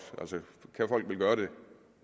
kan folk vel gøre det